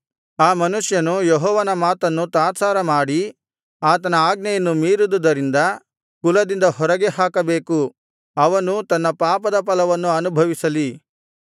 ಆ ಮನುಷ್ಯನು ಯೆಹೋವನ ಮಾತನ್ನು ತಾತ್ಸಾರಮಾಡಿ ಆತನ ಆಜ್ಞೆಯನ್ನು ಮೀರಿದುದರಿಂದ ಕುಲದಿಂದ ಹೊರಗೆ ಹಾಕಬೇಕು ಅವನು ತನ್ನ ಪಾಪದ ಫಲವನ್ನು ಅನುಭವಿಸಲಿ